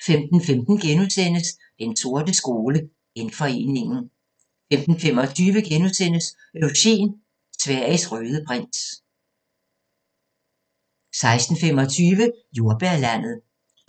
15:15: Den sorte skole: Genforeningen * 15:25: Eugen – Sveriges røde prins * 16:25: Jordbærlandet